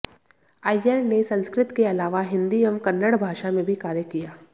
अय्यर ने संस्कृत के अलावा हिन्दी एवं कन्नड़ भाषा में भी कार्य किया